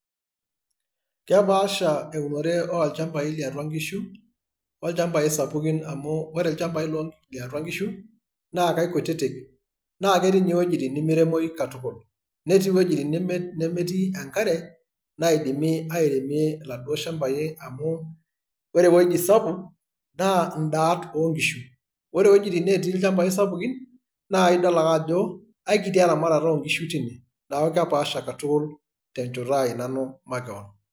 Kepaasha eunore olchambai liatua inkishu olchambai sapukin amuu ore ilchambai liatua inkishu naa kaikutitik naa ketii iny'e iwuejitin nemeiremoyu katukul, netii iwuejitin nemetii enkare naidimi airemie iladuoo shambai amu ore ewueji sapuk naa indaat oonkishu, ore iweujitin neetii ilchambai sapukin naa idol ake ajo aikiti eramatata oonkishu teine neeku kepaasha katukul tenchoto ai nanu makewon.